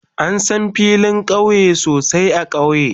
An san filin kauye sosai a kauye.